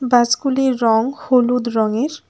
বাসগুলির রং হলুদ রঙের।